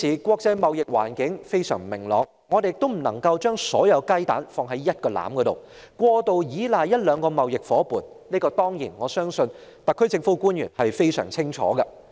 國際貿易環境現時非常不明朗，我們不能把所有雞蛋放在同一個籃子，或過度依賴一兩個貿易夥伴，而我相信特區政府官員非常清楚這一點。